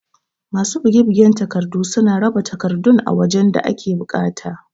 Masu buge bugen takardu suna raba takardun a wajan da ake buƙata